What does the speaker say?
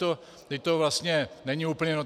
Vždyť to vlastně není úplně...